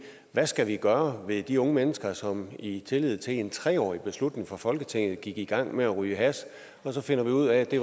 hvad skal vi gøre ved de unge mennesker som i tillid til en tre årsbeslutning fra folketinget gik i gang med at ryge hash og så finder vi ud af at det